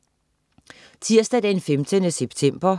Tirsdag den 15. september